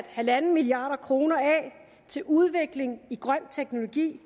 halv milliard kroner af til udvikling af grøn teknologi